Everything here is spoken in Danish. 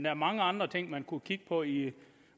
er mange andre ting man kunne kigge på i